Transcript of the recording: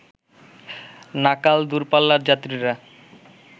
নাকাল দুরপাল্লার যাত্রীরা